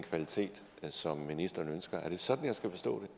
kvalitet som ministeren ønsker er det sådan jeg skal forstå det